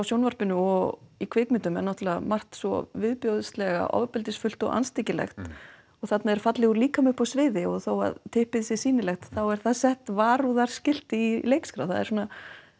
sjónvarpinu og í kvikmyndum er náttúrulega margt svo viðbjóðslega ofbeldisfullt og andstyggilegt og þarna er fallegur líkami uppi á sviði og þó að typpið sé sýnilegt þá er sett varúðarskilti í leikskrá það er svona